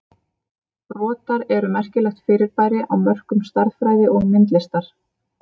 Brotar eru merkilegt fyrirbæri á mörkum stærðfræði og myndlistar.